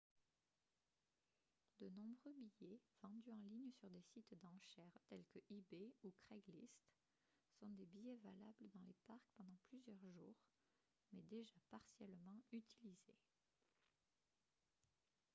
de nombreux billets vendus en ligne sur des sites d'enchères tels que ebay ou craigslist sont des billets valables dans les parcs pendant plusieurs jours mais déjà partiellement utilisés